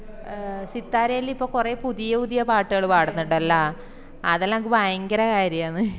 സിത്താരല്ലോ ഇപ്പൊ കൊറ പുതിയ പുതിയ പാട്ട്കള് പടന്നിണ്ടല്ല അതെല്ലാ എനക് ഭയങ്കര കാര്യന്ന്